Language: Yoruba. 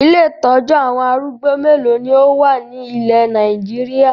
Ilé ìtọ́jú àwọn arúgbó mélòó ni ó wà ní ilẹ̀ Nàìjíríà?